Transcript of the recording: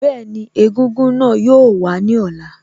Bẹ́ẹ̀ni, egúngún náà yóò wàá ní ọ̀la